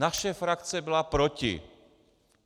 Naše frakce byla proti.